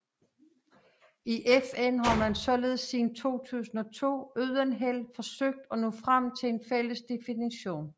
I FN har man således siden 2002 uden held forsøgt at nå frem til en fælles definition